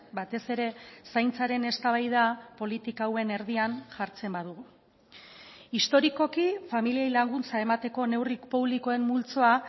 batez ere zaintzaren eztabaida politika hauen erdian jartzen badugu historikoki familiei laguntza emateko neurri publikoen multzoa